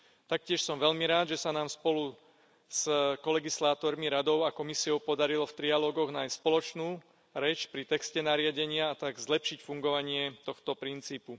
Taktiež som veľmi rád, že sa nám spolu s kolegislátormi Radou a Komisiou podarilo v trialógoch nájsť spoločnú reč pri texte nariadenia, a tak zlepšiť fungovanie tohto princípu.